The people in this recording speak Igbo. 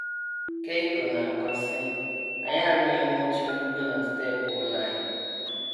Keiko na - akọ, sị: Anyị arụnyewo oche mbugo na steepụ ụlọ anyị.